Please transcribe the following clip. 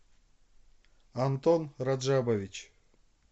антон раджабович